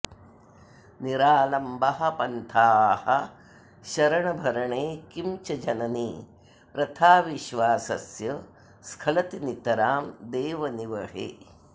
निरालम्बः पन्थाः शरणभरणे किं च जननि प्रथाविश्वासस्य स्खलति नितरां देवनिवहे